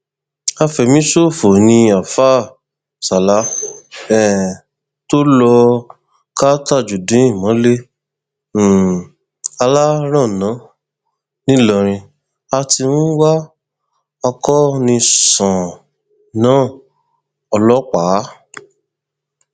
afẹmíṣòfò ni àáfáà sala um tó lọọ ka tajudeen mọlẹ um alárànán nìlọrin a ti ń wá akoniṣánná ọlọpàá